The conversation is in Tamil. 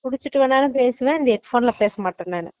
புடுச்சுட்டு வேணாலும் பேசுவேன் இந்த headphone ல பேசமாட்டேன் நானு